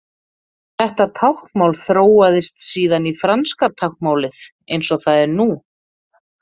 Þetta táknmál þróaðist síðan í franska táknmálið eins og það er nú.